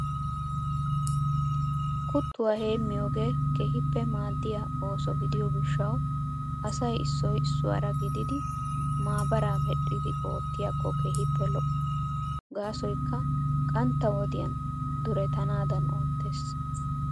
Kuttuwa heemmiyogee. keehippe maaddiya ooso gidiyo gishshawu asay issoy issuwara gididi maabaraa medhdhidi oottiyakko keehippe lo'o. Gaasoykka qantta wodiyan duretanaadan oottees.